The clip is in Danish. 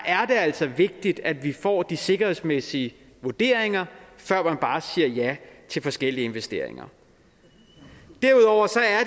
er det altså vigtigt at vi får de sikkerhedsmæssige vurderinger før vi bare siger ja til forskellige investeringer derudover